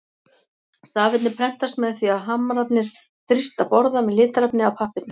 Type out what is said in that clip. Stafirnir prentast með því að hamrarnir þrýsta borða með litarefni að pappírnum.